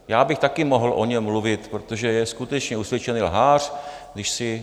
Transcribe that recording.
Já bych také mohl o něm mluvit, protože je skutečně usvědčený lhář.